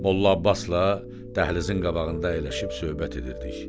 Molla Abbasla dəhlizin qabağında əyləşib söhbət edirdik.